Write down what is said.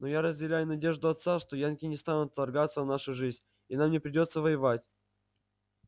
но я разделяю надежду отца что янки не станут вторгаться в нашу жизнь и нам не придётся воевать